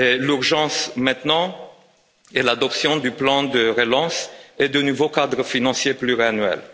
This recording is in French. L'urgence maintenant est l'adoption du plan de relance et du nouveau cadre financier pluriannuel.